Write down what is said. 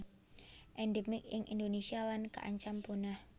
Endemik ing Indonésia lan kaancam punah